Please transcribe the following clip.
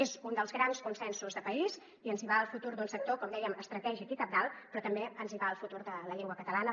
és un dels grans consensos de país i ens hi va el futur d’un sector com dèiem estratègic i cabdal però també ens hi va el futur de la llengua catalana